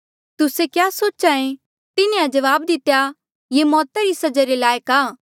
तुस्से क्या सोच्हा ऐें तिन्हें जवाब दितेया ये मौता री सजा रे लायक आ